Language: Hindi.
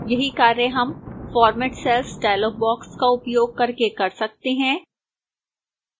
यही कार्य हम format cells dialog box का उपयोग करके कर सकते हैं